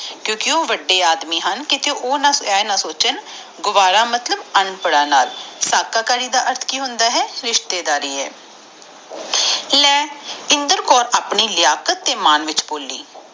ਕਿਉਕਿ ਉਹ ਵਾਦੇ ਆਦਮੀ ਆ ਕੀਤੇ ਓਘਹ ਇਹ ਨਾ ਸੋਚਾਂ ਕਿ ਗਾਵਾਰਾ ਮਤਲਬ ਅਨਪ੍ਰਦਾ ਨਾਲ ਧਗਾਕਾਰੀ ਦਾ ਮਤਲਬ ਹੁੰਦਾ ਰਿਸ਼ਤੇਦਾਰੀ ਲੀ ਇੰਦਰ ਕੌਰ ਆਪਣੇ ਮਾਨ ਚ ਬੋਲੀ